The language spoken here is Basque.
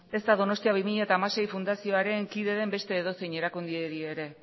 ez da donostia bi mila hamasei fundazioaren kide den beste edozein erakundeari ere